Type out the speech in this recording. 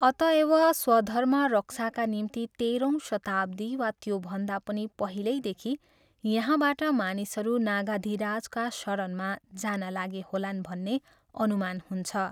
अतएव स्वधर्म रक्षाका निम्ति तेह्रौँ शताब्दी वा त्योभन्दा पनि पहिल्यैदेखि यहाँबाट मानिसहरू नगाधिराजका शरणमा जान लागे होलान् भन्ने अनुमान हुन्छ।